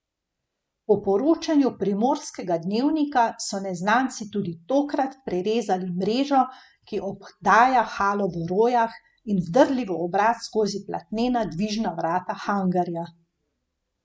Po poročanju Primorskega dnevnika so neznanci tudi tokrat prerezali mrežo, ki obdaja halo v Rojah, in vdrli v obrat skozi platnena dvižna vrata hangarja.